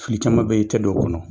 Fili caman bɛyi i tɛ don o kɔnɔ.